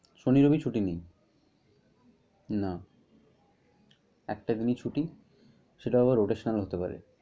শনি রবি ছুটি নেই। না, একটা এমনি ছুটি। সেটা আবার rotaional হতে পারে।